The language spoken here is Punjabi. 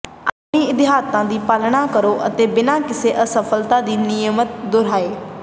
ਆਪਣੀਆਂ ਹਿਦਾਇਤਾਂ ਦੀ ਪਾਲਣਾ ਕਰੋ ਅਤੇ ਬਿਨਾਂ ਕਿਸੇ ਅਸਫਲਤਾ ਦੇ ਨਿਯਮਿਤ ਦੁਹਰਾਏ